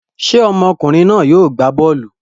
Ṣé ọmọkùnrin náà yóò gbá bọ́ọ́lù?